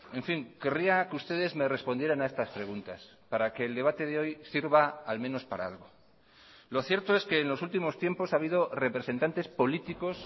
en fin querría que ustedes me respondieran a estas preguntas para que el debate de hoy sirva al menos para algo lo cierto es que en los últimos tiempos ha habido representantes políticos